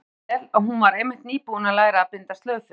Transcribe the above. Nú kom sér vel að hún var einmitt nýbúin að læra að binda slaufu.